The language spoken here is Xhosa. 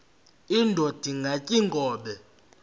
indod ingaty iinkobe